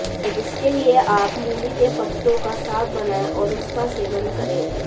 इसके लिए आप मूली के पत्तों का साग बनाएं और उसका सेवन करें